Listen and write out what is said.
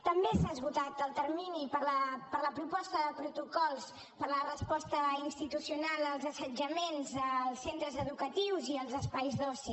també s’ha esgotat el termini per a la proposta de protocols per a la resposta institucional als assetjaments als centres educatius i als espais d’oci